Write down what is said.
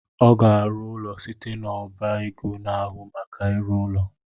Ọ ga-arụ ụlọ site n’ọba ego na-ahụ maka ịrụ ụlọ